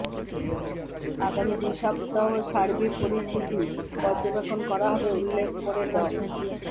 আগামী দুই সপ্তাহ সার্বিক পরিস্থিতি পর্যবেক্ষণ করা হবে উল্লেখ করে ড